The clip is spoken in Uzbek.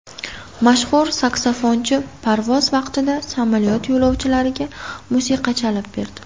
Mashhur saksafonchi parvoz vaqtida samolyot yo‘lovchilariga musiqa chalib berdi .